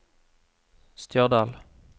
Stjørdal